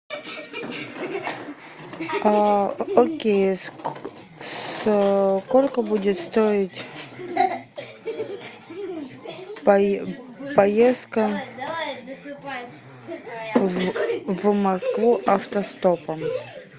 окей сколько будет стоить поездка в москву автостопом